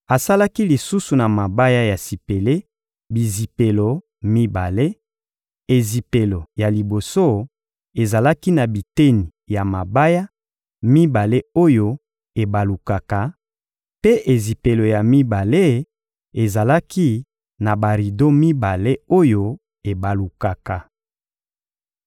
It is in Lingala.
Asalaki lisusu na mabaya ya sipele bizipelo mibale; ezipelo ya liboso ezalaki na biteni ya mabaya mibale oyo ebalukaka, mpe ezipelo ya mibale ezalaki na barido mibale oyo ebalukaka.